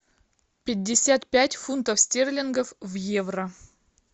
пятьдесят пять фунтов стерлингов в евро